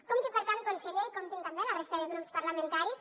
compti per tant conseller i comptin també la resta de grups parlamentaris